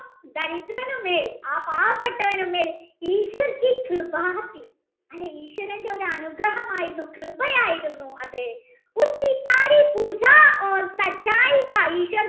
ദരിദ്രനുമേൽ ആ പാവപെട്ടവനുമേൽ അത് ഈശ്വരൻ്റെ അനുഗ്രഹമായിരുന്നു കൃപ ആയിരുന്നു അത്